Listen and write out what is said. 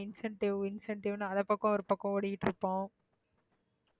incentive incentive னு அது பக்கம் ஒருபக்கம் ஓடிட்டிருப்போம்.